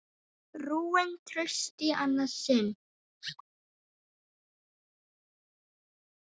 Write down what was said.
Rúin trausti í annað sinn.